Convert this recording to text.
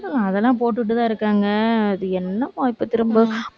போடலாம், அதெல்லாம் போட்டுட்டுதான் இருக்காங்க. அது என்னமோ இப்ப திரும்ப